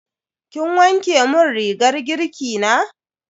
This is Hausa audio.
Kin wanke mun rigar girki na?